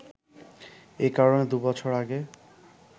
এ কারণে দু’বছর আগে